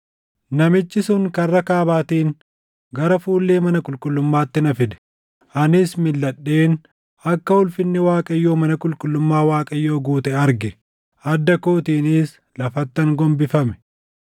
Namichi sun karra kaabaatiin gara fuullee mana qulqullummaatti na fide. Anis milʼadheen akka ulfinni Waaqayyoo mana qulqullummaa Waaqayyoo guute arge; adda kootiinis lafattan gombifame.